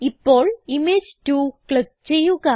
ഇപ്പോൾ image 2 click ചെയ്യുക